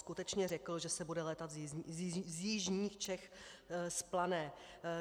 Skutečně řekl, že se bude létat z jižních Čech z Plané.